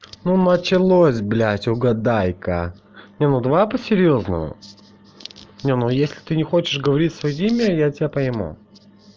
ну началось блять угадайка нет ну давай по-серьёзному нет ну если ты не хочешь говорить своё имя я тебя пойму